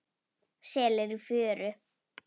Selir í fjöru.